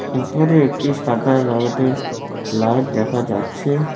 উপরে একটি সাদা রডের লাইট দেখা যাচ্ছে।